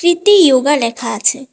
কৃতী ইয়োগা লেখা আছে।